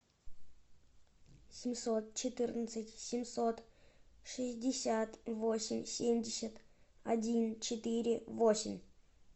семьсот четырнадцать семьсот шестьдесят восемь семьдесят один четыре восемь